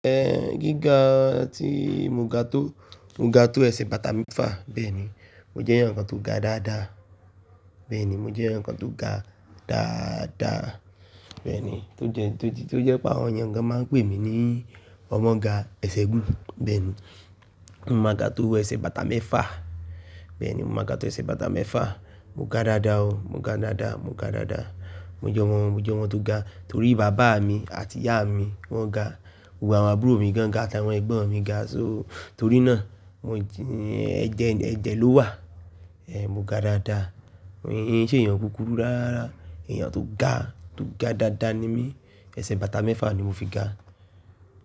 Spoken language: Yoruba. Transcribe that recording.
Ehn gíga ti mo ga to, mo ga to ẹsẹ̀ bàtà mẹ́fà. Bẹ́ẹ̀ni, mo jẹ́ ẹ̀yàn tó ga dáadáa. Bẹ́ẹ̀ni, mo jẹ́ ẹ̀yàn tó ga dáadáa. Bẹ́ẹ̀ni, tó jẹ, tó jẹ́ pé àwọn èèyàn gan máa ń pè mí ní ọmọ ga ẹsẹ̀ gún. Bẹ́ẹ̀ni, mo máa ga tó ẹsẹ̀ bàtà mẹ́fà. Bẹ́ẹ̀ni, mo máa ga tó ẹsẹ̀ bàtà mẹ́fà. Mo ga dáadáa o. Mo ga dáadáa, mo ga dáadáa. Mo jẹ́ ọmọ, mo jẹ́ ọmọ tó ga torí bàbá mi àti ìyá mi wọ́n ga. Gbogbo àwọn àbúrò mi gan ga, àti àwọn ẹ̀gbọ́n mi ga. So torí náà, ẹ̀jẹ̀, ẹ̀jẹ̀ ló wà. Ehn mo ga dáadáa. Mi o ki nse èèyàn kúkúrú rárá. Ẹ̀yàn tó ga, tó ga dáadáa ni mí. Ẹsẹ̀ bàtà mẹ́fà ni mo fi ga.